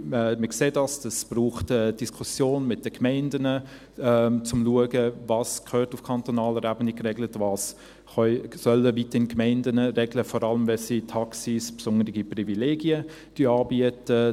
Wir sehen es, das braucht eine Diskussion mit den Gemeinden um zum schauen, was auf kantonaler Ebene geregelt gehört und was weiterhin die Gemeinden regeln sollen, vor allem dann, wenn sie Taxis besondere Privilegien anbieten.